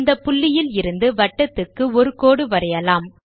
இந்த புள்ளியில் இருந்து வட்டத்துக்கு ஒரு கோடு வரையலாம்